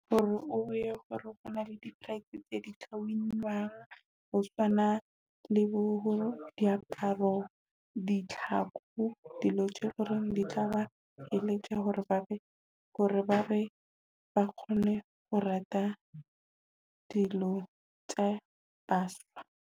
Hore o bone hore na le di-price tsa di ho tshwana le bo diaparo, ditlhako dilo tse e leng hore di tla ba eletsa hore ba be hore ba be ba kgone ho rata dilo tsa baswa.